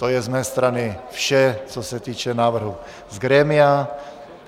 To je z mé strany vše, co se týče návrhu z grémia.